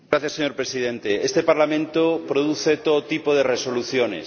Señor Presidente, este Parlamento produce todo tipo de resoluciones.